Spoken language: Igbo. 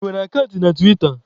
Ị nwere akant na tiwita?